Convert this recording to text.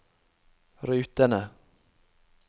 rutene